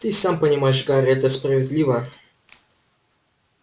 ты и сам понимаешь гарри это справедливо